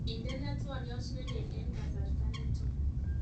Indenee twoliot neleel eng kasarta nito